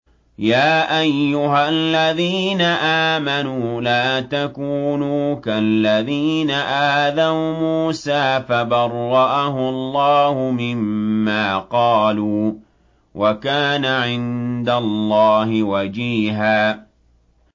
يَا أَيُّهَا الَّذِينَ آمَنُوا لَا تَكُونُوا كَالَّذِينَ آذَوْا مُوسَىٰ فَبَرَّأَهُ اللَّهُ مِمَّا قَالُوا ۚ وَكَانَ عِندَ اللَّهِ وَجِيهًا